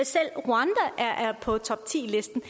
på toptilisten